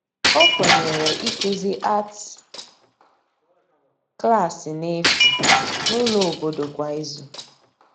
ọ Kwenyere ikuzi arti Klassi n'efu n'ulo obodo kwa ịzụ